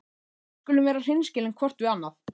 Við skulum vera hreinskilin hvort við annað.